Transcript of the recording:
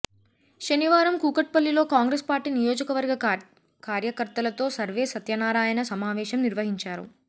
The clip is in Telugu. శనివారం కూకట్పల్లిలో కాంగ్రెస్ పార్టీ నియోజకవర్గ కార్యకర్తలతో సర్వే సత్యనారాయణ సమావేశం నిర్వహించారు